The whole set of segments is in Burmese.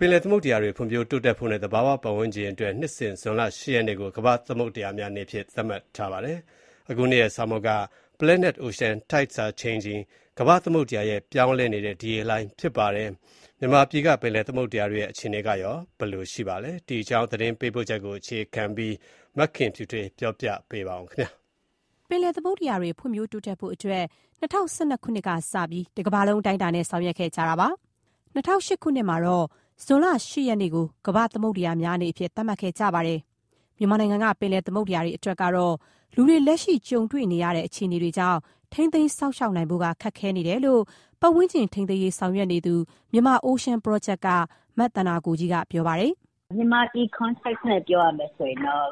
ပင်လယ်သမုဒ္ဒရာတွေ ဖွံ့ဖြိုးတိုးတက်ဖို့နဲ့ သဘာဝပတ်ဝန်းကျင်အတွက် နှစ်စဉ် ဇွန်လ ၈ ရက်နေ့ကို ကမ္ဘာ့သမုဒ္ဒရာများနေ့အဖြစ် သတ်မှတ်ထားပါတယ်။ အခုနှစ်ရဲ့ ဆောင်ပုဒ်က "Planet Ocean: Tides are Changing" ကမ္ဘာ့သမုဒ္ဒရာ ရဲ့ ပြောင်းလဲနေတဲ့ဒီရေလှိုင်း ဖြစ်ပါတယ်။ မြန်မာပြည်က ပင်လယ်သမုဒ္ဒရာတွေရဲ့ အခြေအနေကရော ဘယ်လိုအနေအထားမှာ ရှိနေပါသလဲ။ ဒီအကြောင်း သတင်းပေးပို့ချက်ကို အခြေခံပြီး မခင်ဖြူထွေးက ပြောပြမှာပါ။ ပင်လယ်သမုဒ္ဒရာတွေ ဖွံ့ဖြိုးတိုးတက်ဖို့အတွက် ၂၀၀၂ ခုနှစ်ကစပြီး တကမ္ဘာလုံး အတိုင်းအတာနဲ့ ဆောင်ရွက်ခဲ့ကြတာပါ။ ၂၀၀၈ ခုနှစ်မှာတော့ ဇွန်လ ၈ ရက်နေ့ကို ကမ္ဘာ့သမုဒ္ဒရာများနေ့အဖြစ် သတ်မှတ်ခဲ့ကြပါတယ်။ မြန်မာနိုင်ငံက ပင်လယ်သမုဒ္ဒရာတွေ အတွက်ကတော့ လူတွေ လက်ရှိကြုံတွေ့နေရတဲ့ အခြေအနေတွေကြောင့် ထိန်းသိမ်း စောင့်ရှောက်နိုင်ဖို့က ခက်ခဲနေတယ်လို့ ပတ်ဝန်းကျင်ထိန်းသိမ်းရေး ဆောင်ရွက်နေသူ Myanmar Ocean Project က မသန္တာကိုကြီးက ပြောပါတယ်။ "မြန်မာပြည်အယူအဆနဲ့ ပြောရမယ်ဆိုရင်တော့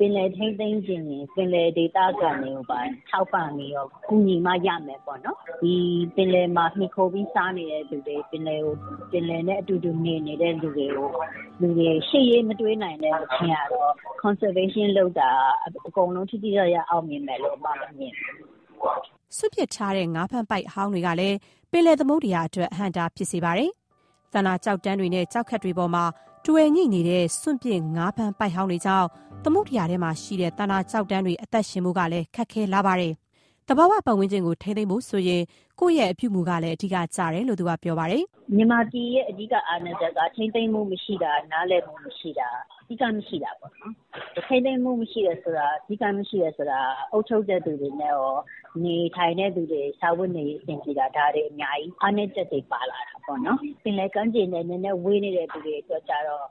ပင်လယ်ထိန်းသိမ်းချင်ရင် ပင်လယ်ဒေသခံတွေကိုပါ ထောက်ပံ့ပြီးတော့ ကူညီမှ ရမယ်ပေါ့နော်။ ဒီပင်လယ်မှာမှီခိုပြီး စားနေတဲ့လူတွေ၊ ပင်လယ်နဲ့အတူတူနေ နေတဲ့လူတွေ ရှေ့ရေး မတွေးနိုင်မချင်းကတော့ ထိန်းသိမ်းစောင့်ရှောက်မှု လုပ်တာက အကုန်လုံးထိထိရောက်ရောက် အောင်မြင်မယ်လို့ အစ်မကတော့ မမြင်ဘူး။" စွန့်ပစ်ထားတဲ့ ငါးဖမ်းပိုက် အဟောင်းတွေကလည်း ပင်လယ်သမုဒ္ဒရာအတွက် အဟန့်အတား ဖြစ်စေပါတယ်။ သန္တာကျောက်တန်းတွေနဲ့ ကျောက်ခက်တွေပေါ်မှာ တွယ်ငြိနေတဲ့ စွန့်ပစ်ငါးဖမ်း ပိုက်ဟောင်းတွေကြောင့် သမုဒ္ဒရာထဲမှာရှိတဲ့ သန္တာကျောက်တန်းတွေ အသက်ရှင်ဖို့ကလည်း ခက်ခဲလာပါတယ်။ သဘာဝပတ်ဝန်းကျင်ကို ထိန်းသိမ်းဖို့ဆိုရင် ကိုယ့်ရဲ့အပြုအမူကလည်း အဓိကကျတယ်လို့ ပြောပါတယ်။ "မြန်မာပြည်ရဲ့ အဓိကအားနည်းချက်က ထိန်းသိမ်းမှုမရှိတာ၊ နားလည်မှုမရှိတာ၊ စည်းကမ်းမရှိတာပေါ့နော်။ ထိန်းသိမ်းမှုမရှိတာနဲ့ စည်းကမ်းမရှိတယ် ဆိုတာက အုပ်ချုပ်တဲ့သူတွေနဲ့ရော၊ နေထိုင်တဲ့သူတွေ စားဝတ်နေရေး အဆင်မပြေတာ - ဒါတွေအများကြီး အားနည်းချက်တွေ ပါလာတာပေါ့နော်။ ပင်လယ်ကမ်းခြေနဲ့ နည်းနည်းဝေးနေတဲ့ သူတွေအတွက်ကျတော့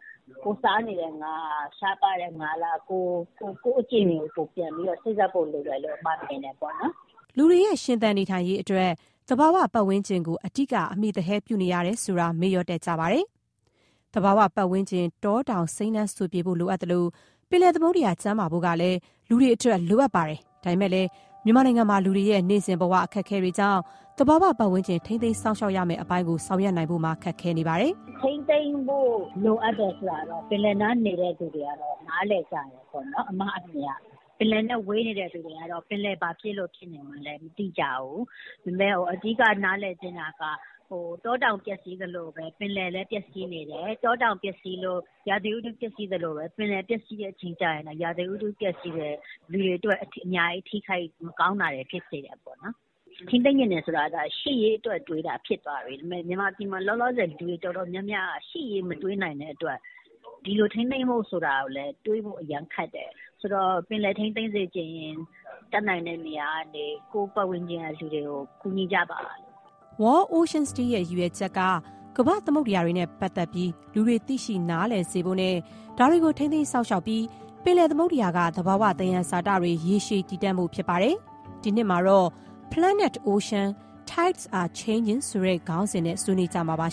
ကိုယ်စားနေတဲ့ငါးက ရှားပါးတဲ့ငါးလား ဆိုတာမျိုး၊ ကိုယ့်အကျင့်တွေကိုတော့ ပြန်ပြီးစေ့စပ်ဖို့ လိုမယ်လို့တော့ မြင်တယ်ပေါ့နော်။" လူတွေရဲ့ ရှင်သန်နေထိုင်ရေးအတွက် သဘာဝပတ်ဝန်းကျင်ကို အဓိက အမှီသဟဲပြုနေရတယ်ဆိုတာ မေ့လျော့တတ်ကြပါတယ်။ သဘာဝပတ်ဝန်းကျင် တောတောင်စိမ်းလန်းစိုပြေဖို့ လိုအပ်သလို၊ ပင်လယ်သမုဒ္ဒရာ ကျန်းမာဖို့ကလည်း လူတွေအတွက် လိုအပ်ပါတယ်။ ဒါပေမဲ့လည်း မြန်မာပြည်မှာ လူတွေရဲ့ နေ့စဉ်ဘဝ အခက်အခဲတွေကြောင့် သဘာဝပတ်ဝန်းကျင် ထိန်းသိမ်းစောင့်ရှောက်ရမယ့် အပိုင်းကို ဆောင်ရွက်နိုင်ဖို့ ခက်ခဲနေပါတယ်။ "ထိန်းသိမ်းဖို့လိုအပ်တယ် ဆိုတာက ပင်လယ်နားနေတဲ့ လူတွေကတော့ နားလည်ကြမယ်လို့ မြင်တယ်။ ပင်လယ်နဲ့ဝေးနေတဲ့ လူတွေကတော့ ပင်လယ်ဘာဖြစ်လို့ ဖြစ်နေမှန်းလဲ မသိကြဘူး။ ဒါပေမဲ့ အဓိကနားလည်သင့်တာက တောတောင် ပျက်စီးသလိုပဲ၊ ပင်လယ်လည်း ပျက်စီးနေတယ်။ တောတောင်ပျက်စီးလို့ ရာသီဥတု ပျက်စီးသလိုပဲ၊ ပင်လယ်ပျက်စီးတဲ့ အချိန်ကျရင်လည်း ရာသီဥတုပျက်စီးတယ်။ လူတွေအတွက် ထိခိုက်၊ မကောင်းတာတွေ အများကြီးဖြစ်စေတယ်။ ထိန်းသိမ်းချင်တယ် ဆိုတာကလည်း ရှေ့ရေးအတွက်တွေးတာ ဖြစ်သွားပြီ။ ဒါပေမဲ့ မြန်မာပြည်မှာ လောလောဆယ် လူတော်တော်များများက ရှေ့ရေးမတွေးနိုင်တဲ့အတွက် ဒီလိုထိန်းသိမ်းဖို့ ဆိုတာကိုလည်း တွေးဖို့အရမ်းခက်တယ်။ ဆိုတော့ ပင်လယ်ထိန်းသိမ်းစေချင်ရင် တတ်နိုင်တဲ့နေရာကနေ ကိုယ့်ပတ်ဝန်းကျင်က လူတွေကို ကူညီကြပါလို့။" World Oceans Day ရဲ့ ရည်ရွယ်ချက်က ကမ္ဘာ့သမုဒ္ဒရာတွေနဲ့ ပတ်သက်ပြီး လူတွေသိရှိ နားလည်စေဖို့နဲ့ ဒါတွေကို ထိန်းသိမ်းစောင့်ရှောက်ပြီး ပင်လယ်သမုဒ္ဒရာက သဘာဝသယံဇာတတွေ ရေရှည်တည်တံ့ဖို့ ဖြစ်ပါတယ်။ ဒီနှစ်မှာတော့ "Planet Ocean: Tides are Changing" ကမ္ဘာ့သမုဒ္ဒရာ ရဲ့ ပြောင်းလဲနေတဲ့ဒီရေလှိုင်း ဆိုတဲ့ခေါင်းစဉ်နဲ့ ဆွေးနွေးကြမှာပါ